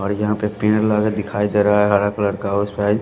और यहां पे पेड़ लगा दिखाई दे रहा है हरा कलर का और साइज़ --